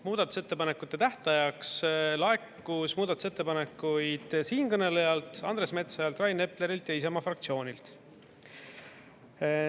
Muudatusettepanekute tähtajaks laekus muudatusettepanekuid siinkõnelejalt, Andres Metsojalt, Rain Eplerilt ja Isamaa fraktsioonilt.